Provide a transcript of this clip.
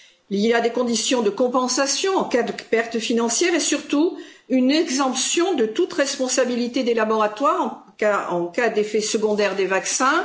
Il y a des conditions de compensation en cas de pertes financières et, surtout, une exemption de toute responsabilité des laboratoires en cas d'effets secondaires des vaccins.